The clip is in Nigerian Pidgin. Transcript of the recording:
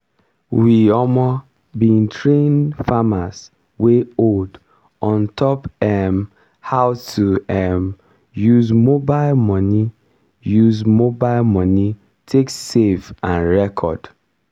we um bin train farmers wey old on top um how to um use mobile money use mobile money take save and record.